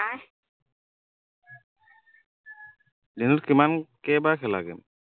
দিনত কিমান কেইবাৰ খেলা game